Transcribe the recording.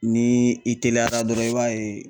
Ni i teliyara dɔrɔn i b'a ye .